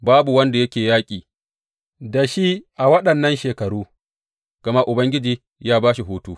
Babu wanda yake yaƙi da shi a waɗannan shekaru, gama Ubangiji ya ba shi hutu.